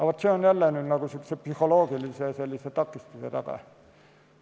Vaat, see on jälle psühholoogilise takistuse taga.